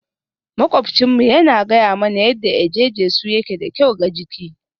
Maƙwabcinmu yana gaya mana yadda eje-jesu yake da kyau ga jiki